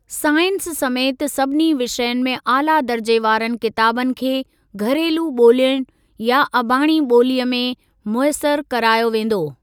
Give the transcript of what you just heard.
Science समेति सभिनी विषयनि में आला दर्जे वारनि किताबनि खे घरेलू ॿोलियुनि या अबाणी ॿोलीअ में मुयसरु करायो वेंदो।